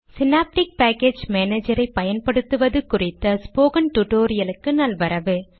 synaptic package மானேஜரை பயன்படுத்துவது குறித்த ஸ்போகன் டுடோரியலுக்கு நல்வரவு